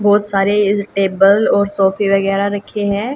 बहोत सारे टेबल और सोफे वगैरा रखे हैं।